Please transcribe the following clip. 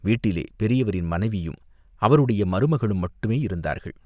வீட்டிலே பெரியவரின் மனைவியும், அவருடைய மருமகளும் மட்டுமே இருந்தார்கள்.